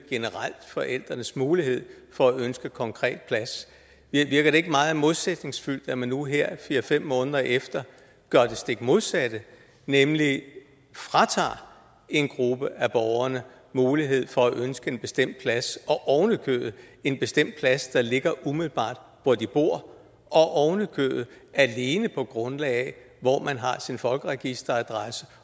generelt forældrenes mulighed for at ønske en konkret plads virker det ikke meget modsætningsfyldt når man nu her fire fem måneder efter gør det stik modsatte nemlig fratager en gruppe af borgerne mulighed for at ønske en bestemt plads ovenikøbet en bestemt plads der ligger umiddelbart hvor de bor og alene på grundlag af hvor man har sin folkeregisteradresse